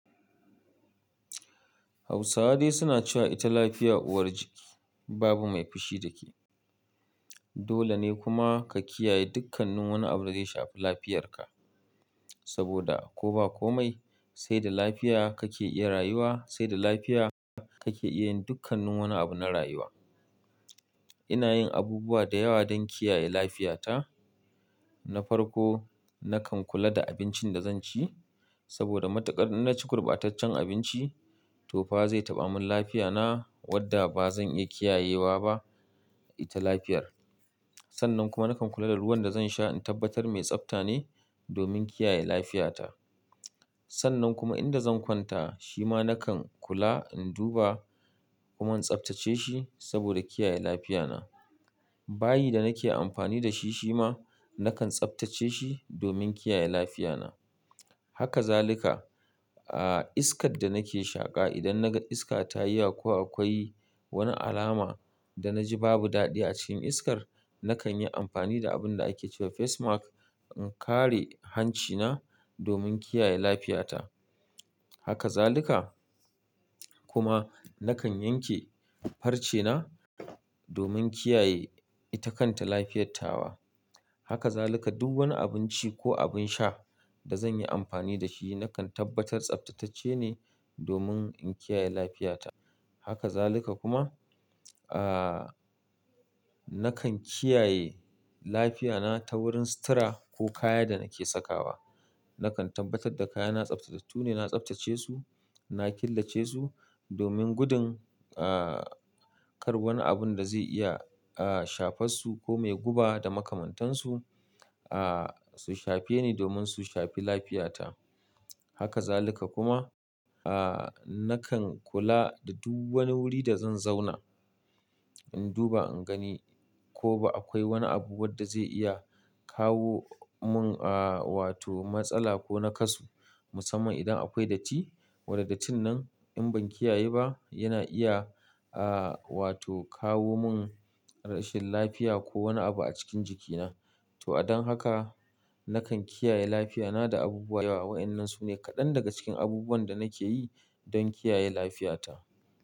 Hausawa dai suna cewa ita lafiya uwar jiki, babu mai fushi da ke. Dole ne kuma ka kiyaye dukkanin wani abu da zai shafi lafiyarka, saboda ko ba komai sai da lafiya kake iya rayuwa, sai da lafiya kake iya yin dukkanin wani abu na rayuwa. Ina yin abubuwa da yawa don kiyaye lafiyata. Na farko, nakan kula da abincin da zan ci saboda matukar innaci gurbataccen abinci to fa zai taba min lafiya na wanda ba zan iya kiyayewa ba ita lafiyar sannan kuma nakan kula da ruwan da zan sha in tabbatar mai tsafta ne domin kiyaye lafiyata. Sannan kuma inda zan kwanta, shi ma nakan kula in duba kuma in tsaftace shi saboda kiyaye lafiyana. Bayi da nake amfani da shi shi ma nakan tsaftace shi domin kiyaye lafiyana. Haka zalika, ah, iskar da nake shaƙa idan naga iska ta yi ko akwai wani alama da naji babu dadi acikin iskar nakanyi anfani da abin da ake cewa face mask in kare hanci na domin kiya ye lafiya ta haka zalika kuma nakan yanke farce na domin kiyaye ita kanta lafiyar tawa. Haka zaluka duk wani abinci ko abin sha da zan yi amfani da shi, nakan tabbatar tsaftatacce ne domin in kiyaye lafiyata. Haka zaluka kuma, ah, nakan kiyaye lafiyata ta wurin sutura ko kaya da nake sakawa. Nakan tabbatar da kaya na tsaftatattu ne, na tsaftace su, na killace su domin gudun, ah, kar wani abun da zai iya, ah, shafas su ko mai guba da makamantansu, ah, su shafe ni domin su shafi lafiyata. Haka zaluka kuma, ah, nakan kula da duk wani wuri da zan zauna. In duba in gani ko ba akwai wani abu wadda zai iya kawo mun, ah, wato matsala ko na kasu. Musamman idan akwai datti, wan da dattin in ban kiyaye ba yana iya, ah, wato kawo mun rashin lafiya ko wani abu a cikin jikina. To a don haka nakan kiyaye lafiyana da abubuwa da yawa. Wa'yannan su ne kaɗan daga cikin abubuwan da nake yi don kiyaye lafiyata.